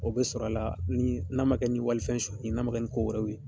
O bɛ sɔrɔ a la ni a ma kɛ ni walifɛn sonyɛli ye n'a ma kɛ ni ko wɛrɛw ye.